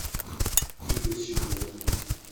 игорь щеглов